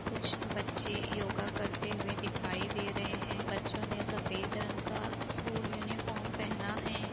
कुछ बच्चे योगा करते हुए दिखाई दे रहे हैं बच्चों ने सफेद रंग का स्कूल यूनिफॉर्म पहना है।